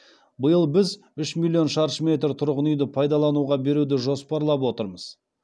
биыл біз үш миллион шаршы метр тұрғын үйді пайдалануға беруді жоспарлап отырмыз